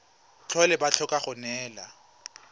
tlhole ba tlhoka go neelana